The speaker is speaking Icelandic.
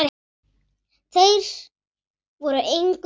Þeir voru engu nær.